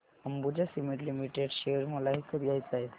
Ambuja cement limited share मला विकत घ्यायचे आहेत